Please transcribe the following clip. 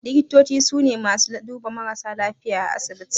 Likitoci su ne masu duba marasa lafiya a asibiti